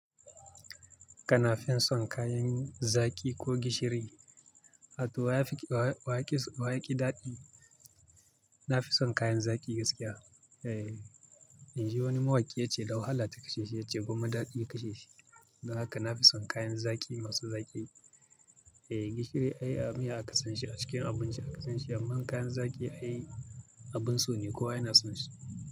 Kana fin son kayan zaƙi ko gishiri, haka wa ya fi, wa ya ƙi daɗi? Na fi son kayan zaƙi gaskiya. Eh, in ji wani mawaƙi ya ce "Da wahala ta kashe shi," ya ce "Gwamma daɗi ya kashe shi". Don haka na fi son kayan zaƙi masu zaƙi. Eh, gishiri ai miya aka san shi a cikin abinci aka san shi, amma kayan zaƙi ai abin so ne kowa yana son shi.